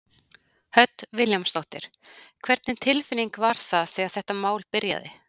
Hödd Vilhjálmsdóttir: Hvernig tilfinning var það þegar þetta mál byrjaði?